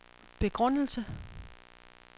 begrundelse